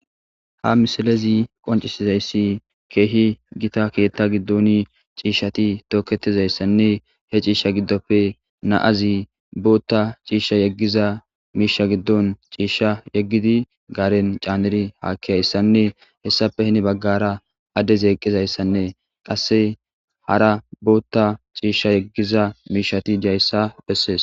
ha misalezi qoncisizayssi keehi gita keetta giddon ciishshati tooketizayssanne he ciisha giddoppe naazi bootta ciisha yeggiza miisha giddon ciishsha yeggidi gaaren caaneri haakkihayssanne hessape hini baggara adde zeqqizayssanne qasse hara bootta ciishsha yeggiza miishati dayssa bessees.